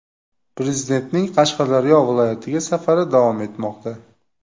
Prezidentning Qashqadaryo viloyatiga safari davom etmoqda.